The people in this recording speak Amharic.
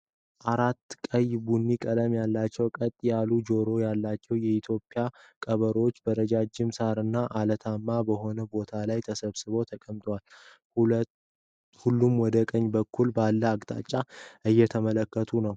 አራት ቀይ ቡኒ ቀለም ያላቸውና ቀጥ ያለ ጆሮ ያላቸው የኢትዮጵያ ቀበሮዎችበረጅም ሳርና አለታማ በሆነ ቦታ ላይ ተሰብስበው ተቀምጠዋል። ሁሉም ወደ ቀኝ በኩል ባለው አቅጣጫ እየተመለከቱ ነው።